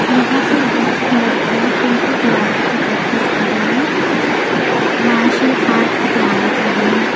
यहां पर लड़कियां कुंग फू कराटे की प्रैक्टिस कर रही हैं मार्शल आर्ट की तैयारी कर रही हैं।